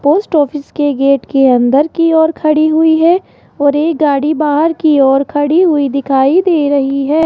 Post office के gate के अंदर की और खड़ी हुई है और एक गाड़ी बाहर की ओर खड़ी हुई दिखाई दे रही है।